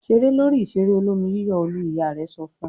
"Ṣeré lórí ìṣeré olómi-yíyọ̀ Olú!" Ìyá rẹ̀ sọ fún un.